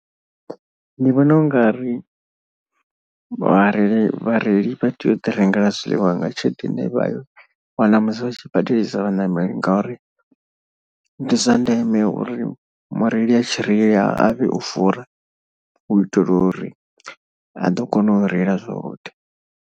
Ndi vhona u nga ri vhareili vhareili vha tea u ḓi rengela zwiḽiwa nga tshelede ine vha i wana musi vha tshi badelisa vhaṋameli. Ngauri ndi zwa ndeme uri mureili a tshireila a vhe o fura u itela uri a ḓo kona u reila zwavhuḓi.